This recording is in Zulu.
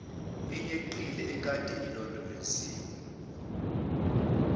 eyeqile ekade ilondoloziwe